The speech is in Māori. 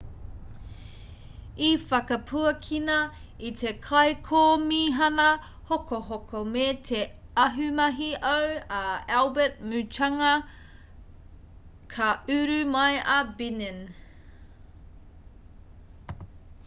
i whakapuakina e te kaikomihana hokohoko me te ahumahi au a albert muchanga ka uru mai a benin